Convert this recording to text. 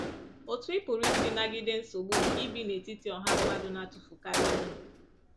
Otú ị pụrụ isi nagide nsogbu nke ibi n’etiti ọha mmadụ na-atụfukarị ihe.